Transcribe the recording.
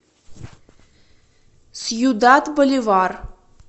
сьюдад боливар